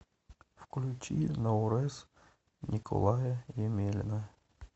включи наурыз николая емелина